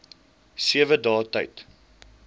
sewe dae tyd